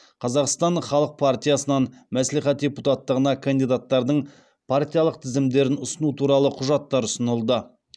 қазақстан халық партиясынан мәслихат депутаттығына кандидаттардың партиялық тізімдерін ұсыну туралы құжаттар ұсынылды